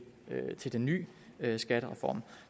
den ny skattereform